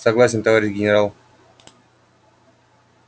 согласен товарищ генерал